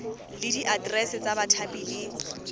le diaterese tsa bathapi le